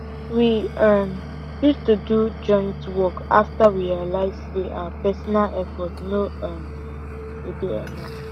we um choose to do joint work after we realize say our personal effort no um go dey enough